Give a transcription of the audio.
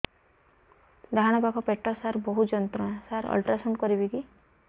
ଡାହାଣ ପାଖ ପେଟ ସାର ବହୁତ ଯନ୍ତ୍ରଣା ସାର ଅଲଟ୍ରାସାଉଣ୍ଡ କରିବି କି